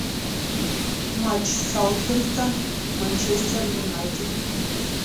матч саутгемптон манчестер юнайтед